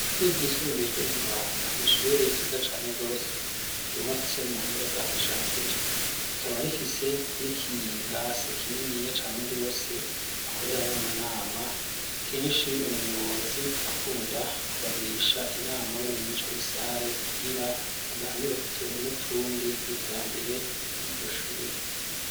Ishure ryisumbuye ryo mu Mabanda nishure ryiza cane wose yubatse mu buhinga bwa kijambere rikaba rifise n'ikilase kinini ya cane gose akorere hamwe amanama kenshi umuyobozi arakunda kubagirisha inama bari mw ico gisare kubwira baganire ku tuntu n'utundi n'iterambere ry'iryo shuri.